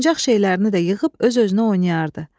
Oyuncaq şeylərini də yığıb öz-özünə oynayardı.